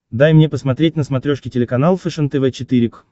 дай мне посмотреть на смотрешке телеканал фэшен тв четыре к